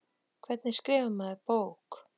Hvernig skrifar maður bók?